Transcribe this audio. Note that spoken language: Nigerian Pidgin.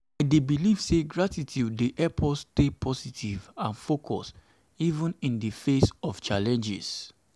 i dey believe say gratitude dey help us to stay positive and focused even in di face of challenges.